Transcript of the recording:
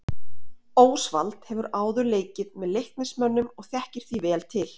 Ósvald hefur áður leikið með Leiknismönnum og þekkir því vel til.